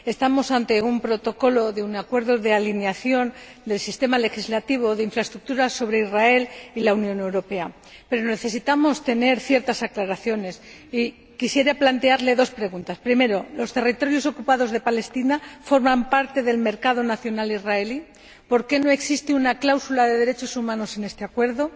Estamos ante el protocolo de un acuerdo de alineación del sistema legislativo de infraestructuras de Israel y la Unión Europea, pero necesitamos tener ciertas aclaraciones y quisiera plantearle dos preguntas primero, ¿los territorios ocupados de Palestina forman parte del mercado nacional israelí? y, segundo, ¿por qué no existe una cláusula de derechos humanos en este acuerdo?